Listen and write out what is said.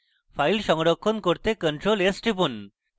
file সংরক্ষণ করতে ctrl + s টিপুন